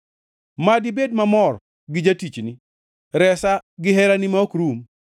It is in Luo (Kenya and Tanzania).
Mad ibed mamor gi jatichni; resa gi herani ma ok rum.